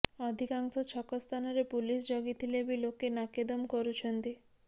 ଅଧିକାଂଶ ଛକ ସ୍ଥାନରେ ପୁଲିସ୍ ଜଗିଥିଲେ ବି ଲୋକେ ନାକେଦମ କରୁଛନ୍ତି